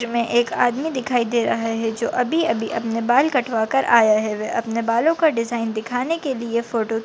में एक आदमी दिखाई दे रहा है जो अभी अभी अपने बाल कटवाकर आया है वे अपने बालों का डिज़ाइन दिखाने के लिए फोटो --